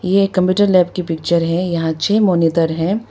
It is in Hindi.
ये कंप्यूटर लैब की पिक्चर है यहां छः मॉनिटर हैं।